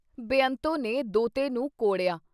ਬੇਅੰਤੋ ਨੇ ਦੋਹਤੇ ਨੂੰ ਕੋੜਿਆ।